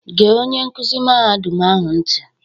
"Gee onye nkuzi mahadum ahụ ntị"